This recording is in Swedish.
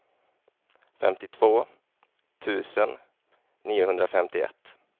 femtiotvå tusen niohundrafemtioett